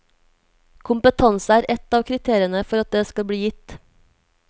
Kompetanse er ett av kriteriene for at det skal bli gitt.